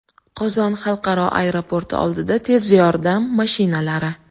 Qozon xalqaro aeroporti oldida tez yordam mashinalari.